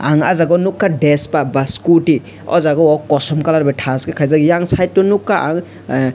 ang a jaga nogkha despa ba scooty o jaga o kosom colour bai tashke kaijak eyang side of nogka ang a.